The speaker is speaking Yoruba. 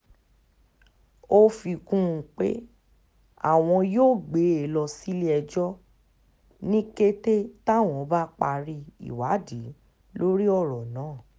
ó fi kún un pé àwọn yóò gbé e lọ sílé-ẹjọ́ ní kété táwọn bá parí ìwádìí lórí ọ̀rọ̀ náà